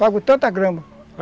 Pago tanta grama.